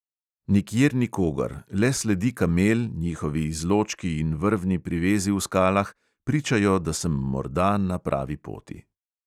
Nikjer nikogar, le sledi kamel, njihovi izločki in vrvni privezi v skalah pričajo, da sem morda na pravi poti.